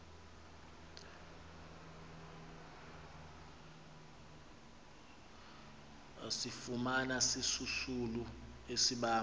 asifumana sisisulu asibamba